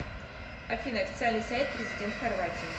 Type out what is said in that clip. афина официальный сайт президент хорватии